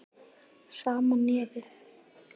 Sama nefið.